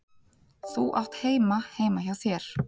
Þú átt heima heima hjá þér!